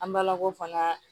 An balakaw fana